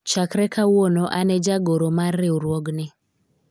chakre kawuono an e jagoro mar riwruogni